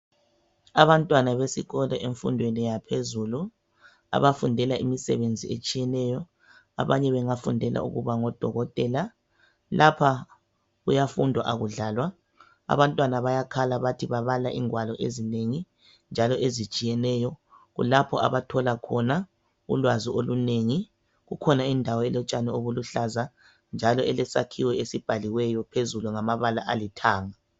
Abantwana besikolo emfundweni yaphezulu abafundela imisebenzi etshiyeneyo .Abanye bengafundela ukuba ngo Dokotela Abantwana bayakhala bathi babala ingwalo ezinengi njalo ezitshiyeneyo kulapho abathola khona ulwazi olunengi. Kukhona indawo elotshani obuluhlaza njalo kulesakhiwo esibhaliweyo phezulu ngamabala alithanga .